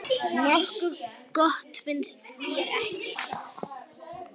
Hann var allur dofinn.